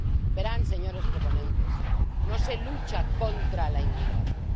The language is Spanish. Verán, señores proponentes, no se lucha contra la inmigración.